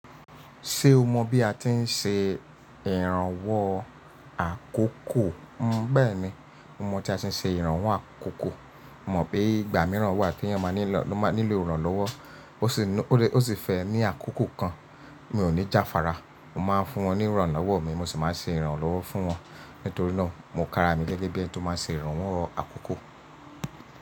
Ṣé o mọ bí a ti ń ṣe ìrànwọ́ àkókò? N bẹ́ẹ̀ni, mo mọ tí a ṣe ń ṣe ìrànwọ́ àkókò. Mọ̀ pé ìgbà mìíràn wà tí ẹni ọ̀ má nílò ìrànlọ́wọ́, ó sì fẹ́ ní àkókò kan. Mi ò ní jáfára, mo máa ń fún wọn ní ìrànlọ́wọ́ mi, mo sì máa ń ṣe ìrànlọ́wọ́ fún wọn. Nítorí náà, mo kára mi gẹ́gẹ́ bí ẹni tó máa ń ṣe ìrànwọ́ àkókò.